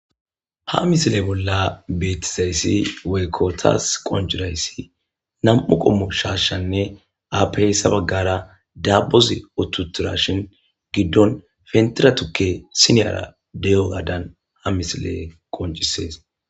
Ha misile bolla beetizayssi weykko taas qonjurayssi nam'u qommu shaashshanne aapehyssa baggara dabozi uttutura shin giddon fentiratukke siniyara deyo gaadan ha misile qoncisees.